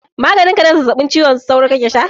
Maganin ka na zazzabin cizon sauro kake sha?